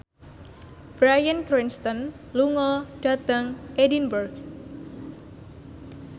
Bryan Cranston lunga dhateng Edinburgh